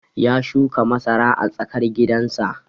Ya shuka masara a tsakar gidan sa